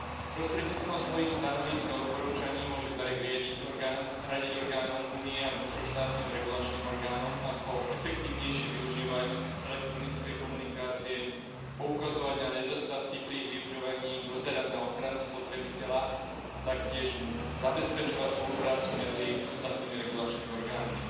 Prostredníctvom svojich stanovísk a odporúčaní môže BEREC radiť orgánom Únie a vnútroštátnym regulačným orgánom ako efektívnejšie využívať elektronické komunikácie, poukazovať na nedostatky pri ich využívaní, dozerať na ochranu spotrebiteľa a taktiež zabezpečovať spoluprácu medzi ostatnými regulačnými orgánmi.